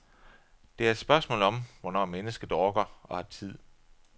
Det er et spørgsmål om, hvornår mennesket orker og har tid.